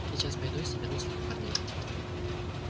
сейчас пойду и соберу своих парней